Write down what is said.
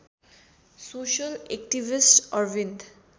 social activist Arvind